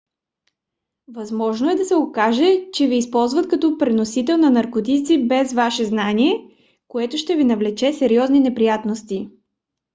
възможно е да се окаже че ви използват като преносител на наркотици без ваше знание което ще ви навлече сериозни неприятности